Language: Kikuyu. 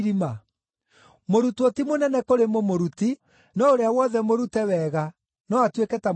Mũrutwo ti mũnene kũrĩ mũmũruti, no ũrĩa wothe mũrute wega, no atuĩke ta mũmũruti.